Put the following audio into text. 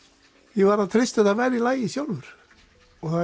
ég verð að treysta á að það verði í lagi sjálfur og